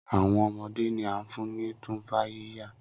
Awọn ọmọde ni a fun ni Tumfafiya